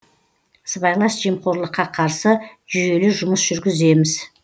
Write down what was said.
сыбайлас жемқорлыққа қарсы жүйелі жұмыс жүргіземіз